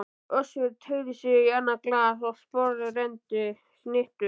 Össur teygði sig í annað glas og sporðrenndi snittu.